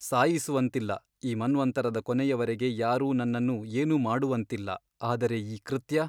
ಸಾಯಿಸುವಂತಿಲ್ಲ ಈ ಮನ್ವಂತರದ ಕೊನೆಯವರೆಗೆ ಯಾರೂ ನನ್ನನ್ನು ಏನೂ ಮಾಡುವಂತಿಲ್ಲ ಆದರೆ ಈ ಕೃತ್ಯ !